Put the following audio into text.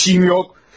Bir şeyim yox.